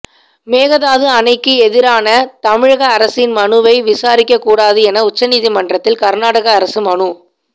மேகதாது அணைக்கு எதிரான தமிழக அரசின் மனுவை விசாரிக்கக்கூடாது என உச்சநீதிமன்றத்தில் கர்நாடக அரசு மனு